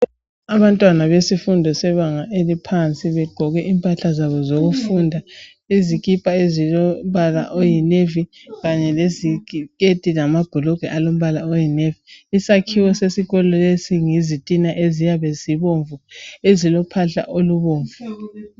Abantwana besifundo sebanga esiphansi Begqoke impahla zabo zokufunda. Izikipa ezilombala oyinavy. Kanye leziketi lamabhulugwe ezilombala oyinavy. lsakhiwa sesikolo lesi yizitina eziyabe zibomvu. Ezilophahla olubomvu.